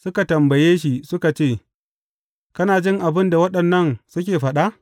Suka tambaye shi suka ce, Kana jin abin da waɗannan suke faɗa?